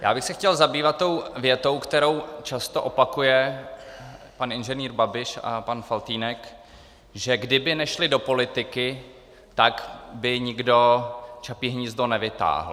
Já bych se chtěl zabývat tou větou, kterou často opakují pan inženýr Babiš a pan Faltýnek, že kdyby nešli do politiky, tak by nikdo Čapí hnízdo nevytáhl.